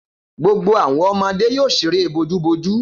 Gbogbo àwọn ọmọdé yóò ṣeré bojúbojú.